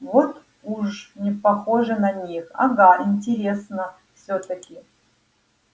вот уж не похоже на них ага интересно всё-таки